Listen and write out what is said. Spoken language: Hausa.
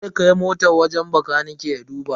Zai kai motan wajen bakanike ya duba.